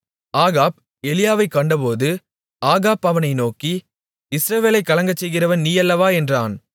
Ahab எலியாவைக் கண்டபோது Ahab அவனை நோக்கி இஸ்ரவேலைக் கலங்கச்செய்கிறவன் நீயல்லவா என்றான்